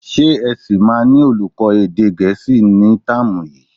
Ṣé ẹ sì máa ní olùkọ́ èdè Gẹ̀ẹ́sì ní táàmù yìí?